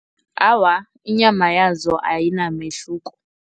Awa, inyama yazo ayinamehluko.